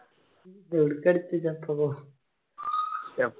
ഒടുക്ക് എടുത്തിനപ്പോ